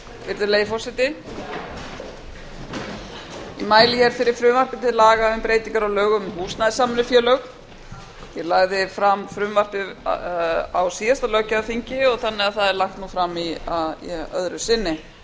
virðulegi forseti ég mæli hér fyrir frumvarpi til laga um breytingar á lögum um húsnæðissamvinnufélög ég lagði fram frumvarpið á síðasta löggjafarþingi þannig að það er nú lagt fram öðru sinni